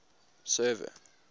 server